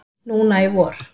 Núna í vor.